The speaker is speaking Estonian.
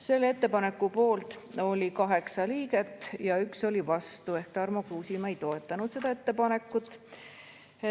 Selle ettepaneku poolt oli 8 liiget ja 1 oli vastu ehk Tarmo Kruusimäe ei toetanud seda ettepanekut.